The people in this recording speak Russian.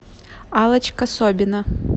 аллочка собина